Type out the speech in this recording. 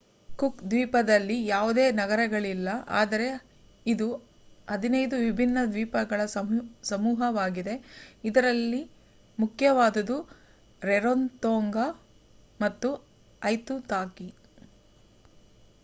cook ದ್ವೀಪದಲ್ಲಿ ಯಾವುದೇ ನಗರಗಳಿಲ್ಲ ಆದರೆ ಇದು 15 ವಿಭಿನ್ನ ದ್ವೀಪಗಳ ಸಮೂಹವಾಗಿದೆ ಇದರಲ್ಲಿ ಮುಖ್ಯವಾದುದು ರರೊತೊಂಗಾ ಮತ್ತು ಐತುತಾಕಿ